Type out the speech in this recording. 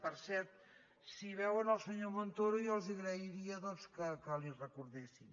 i per cert si veuen el senyor montoro jo els agrairia doncs que li ho recordessin